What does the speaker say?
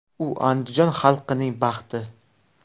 U Andijon xalqining baxti.